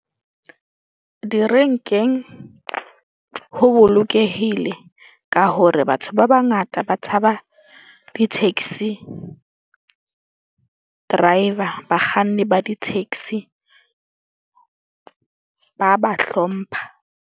Direnkeng ho bolokehile ka hore batho ba bangata ba tshaba di-taxi driver, bakganni ba di-taxi ba ba hlompha.